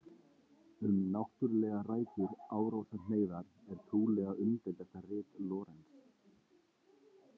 Um náttúrlegar rætur árásarhneigðar, er trúlega umdeildasta rit Lorenz.